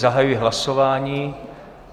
Zahajuji hlasování.